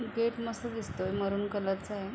Gate मस्त दिसतोय maroon colour चा आहे.